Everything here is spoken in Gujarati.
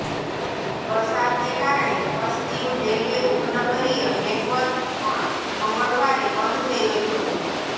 વરસાદને કારણે પશ્ચિમ રેલવે ઉપનગરીય નેટવર્ક પણ મંગળવારે બંધ થઈ ગયું હતું